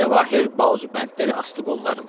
Cəvahiri bazubəndləri asdı qollarından.